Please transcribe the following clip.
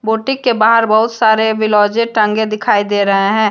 Boutique के बाहर बहुत सारे बिलाउजे टंगे दिखाई दे रहे हैं।